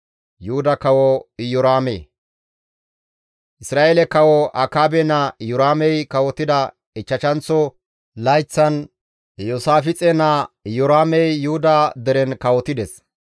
Isra7eele kawo Akaabe naa Iyoraamey kawotida ichchashanththo layththan Iyoosaafixe naa Iyoraamey Yuhuda deren kawotides.